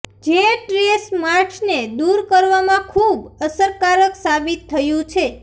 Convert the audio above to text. જે સ્ટ્રેચ માર્ક્સને દૂર કરવામાં ખૂબ અસરકારક સાબિત થયું છે